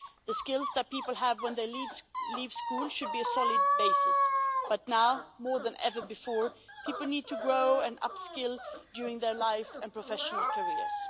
The skills that people have when they leave school should be a solid basis, but now more than ever before, people need to grow and upskill during their lives and professional careers.